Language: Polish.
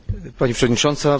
Pani Przewodnicząca!